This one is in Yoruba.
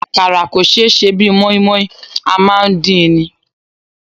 Àkàrà kò ṣé sè bí i mọ́í-mọ́í, a máa ń dín ni.